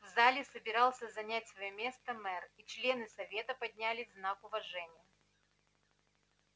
в зале собирался занять своё место мэр и члены совета поднялись в знак уважения